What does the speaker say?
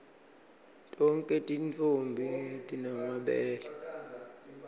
tonkhe tintfombi time mabele